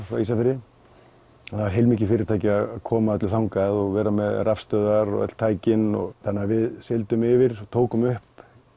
frá Ísafirði það var heilmikið fyrirtæki að koma öllu þangað og vera með rafstöðvar og öll tækin þannig að við sigldum yfir tókum upp